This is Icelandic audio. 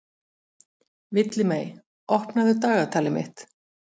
Villimey, opnaðu dagatalið mitt.